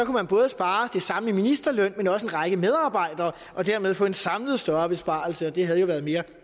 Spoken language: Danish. man både spare det samme i ministerløn men også en række medarbejdere og dermed få en samlet større besparelse og det havde jo været mere